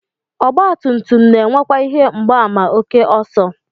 Ọgbatumtum na-enwekwa ihe mgbaàmà ókè ọsọ